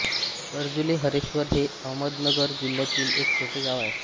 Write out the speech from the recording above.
कर्जुले हरेश्वर हे अहमदनगर जिल्यातील एक छोटे गांव आहे